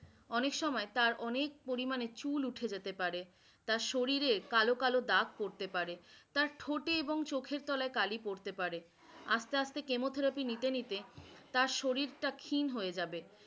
অনেক সময় তার অনেক পরিমানে চুল উঠে যেতে পারে, তার শরীরে কালো কালো দাগ পড়তে পারে, তার ঠোঁটে এবং চোখের তলায় কালী পড়তে পারে, আস্তে আস্তে chemotherapy নিতে নিতে তার শরীরটা ক্ষীণ হয়ে যাবে